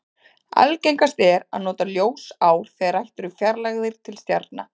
Algengast er að nota ljósár þegar rætt er um fjarlægðir til stjarna.